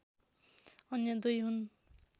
अन्य दुई हुन्